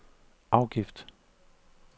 afgift